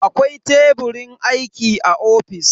Akwai Teburin aiki a ofis.